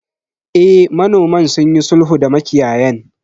Eh, manoman sunyi sulhu da makiyayan.